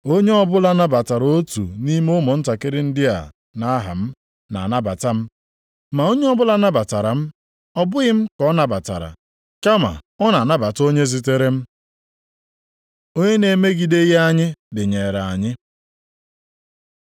“Onye ọbụla nabatara otu nʼime ụmụntakịrị ndị a nʼaha m, na-anabata m. Ma onye ọbụla nabatara m, ọ bụghị m ka ọ nabatara, kama ọ na-anabata onye zitere m.” Onye na-emegideghị anyị dịnyeere anyị